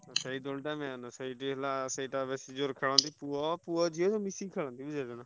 ସେଇ ଦୋଳି ଟା main ସେଇଠି ହେଲା ସେଇଟା ବେଶୀ ଜୋରେ ଖେଳନ୍ତି। ପୁଅ, ପୁଅ ଝିଅ ମିଶି ଖେଳନ୍ତି ବୁଝିପାଇଲନା।